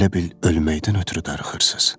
elə bil ölməkdən ötrü darıxırsız.